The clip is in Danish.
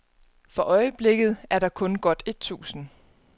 For øjeblikket er der kun godt et tusind.